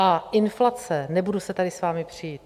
A inflace - nebudu se tady s vámi přít.